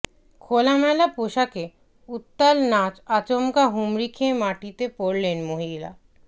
খোলামেলা পোশাকে উত্তাল নাচ আচমকা হুমড়ি খেয়ে মাটিতে পড়লেন মহিলা